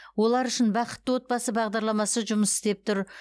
олар үшін бақытты отбасы бағдарламасы жұмыс істеп тұр